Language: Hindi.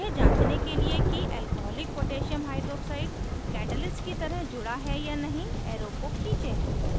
यह जांचने के लिए कि alcoholic potassium hydroxide alc koh catalyst की तरह जुड़ा है या नहीं arrow को खींचें